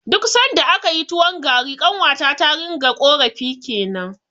Duk sanda akayi tuwon gari, ƙanwata ta ringa ƙorafi kenan.